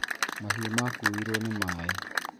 Mahiũ makuirwo nĩ maaĩ